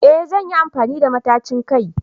Eh zan yi amfani da matacin kai